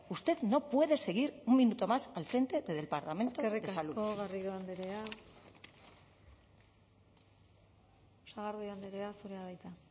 usted no puede seguir un minuto más al frente del departamento de salud eskerrik asko garrido andrea sagardui andrea zurea da hitza